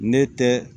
Ne tɛ